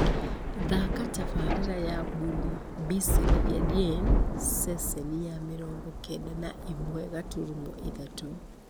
thaaka tabarĩra ya bhuli bisri yaadien ceceni ya mĩrongo kenda na ĩmwe gaturumo ithatũ